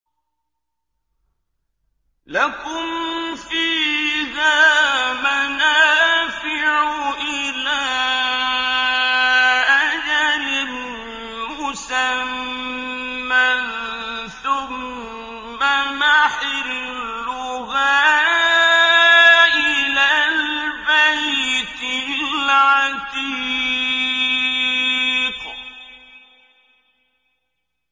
لَكُمْ فِيهَا مَنَافِعُ إِلَىٰ أَجَلٍ مُّسَمًّى ثُمَّ مَحِلُّهَا إِلَى الْبَيْتِ الْعَتِيقِ